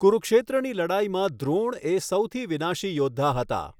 કુરુક્ષેત્રની લડાઈમાં દ્રોણ એ સૌથી વિનાશી યોદ્ધા હતા.